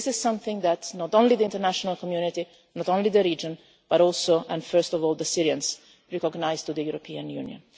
And this is something that not only the international community, not only the region, but also and first of all, the Syrians recognise to the European Union.